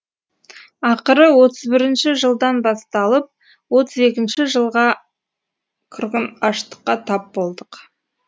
ақыры отыз бірінші жылдан басталып отыз екінші жылғы қырғын аштыққа тап болдық